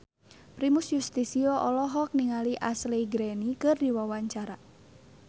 Primus Yustisio olohok ningali Ashley Greene keur diwawancara